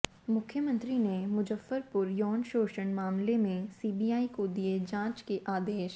मुख्यमंत्री ने मुजफ्फरपुर यौन शोषण मामले में सीबीआई को दिए जाँच के आदेश